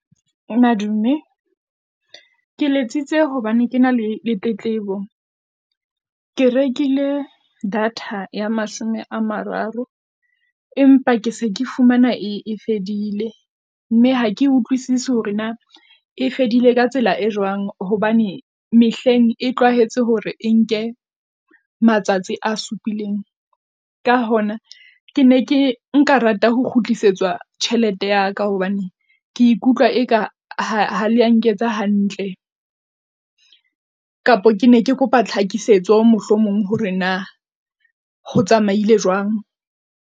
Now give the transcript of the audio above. Madume ke letsitse hobane ke na le le tletlebo, ke rekile data ya mashome a mararo. Empa ke se ke fumana e fedile mme ha ke utlwisise hore na e fedile ka tsela e jwang, hobane mehleng e utlwahetse hore e nke matsatsi a supileng. Ka hona ke ne ke nka rata ho kgutlisetswa tjhelete ya ka hobane ke ikutlwa e ka ha lea nketsa hantle, kapo ke ne ke kopa tlhakisetso mohlomong hore na ho tsamaile jwang.